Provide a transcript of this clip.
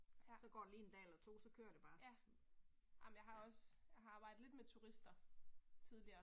Ja. Ja. Amen jeg har også, jeg har arbejdet lidt med turister, tidligere